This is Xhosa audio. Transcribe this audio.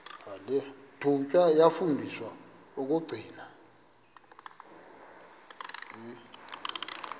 thunywa yafundiswa ukugcina